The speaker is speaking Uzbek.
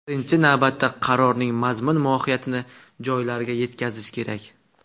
Birinchi navbatda qarorning mazmun-mohiyatini joylarga yetkazish kerak.